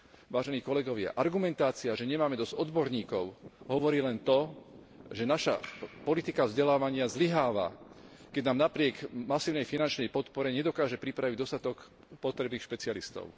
Vážení kolegovia, argumentácia, že nemáme dosť odborníkov, hovorí len to, že naša politika vzdelávania zlyháva, keď nám napriek masívnej finančnej podpore nedokáže pripraviť dostatok potrebných špecialistov.